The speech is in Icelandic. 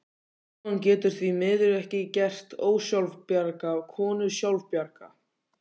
Símon getur því miður ekki gert ósjálfbjarga konu sjálfbjarga.